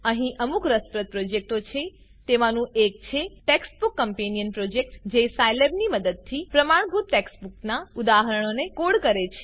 અહીં અમુક રસપ્રદ પ્રોજેક્ટો છે તેમાંનું એક છે ટેક્સ્ટબૂક કમ્પેનિયન પ્રોજેક્ટ જે સાયલેબની મદદથી પ્રમાણભૂત ટેક્સ્ટબૂકનાં ઉદાહરણોને કોડ કરે છે